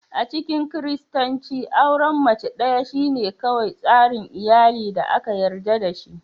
A cikin Kiristanci, auren mace ɗaya shine kawai tsarin iyali da aka yarda da shi.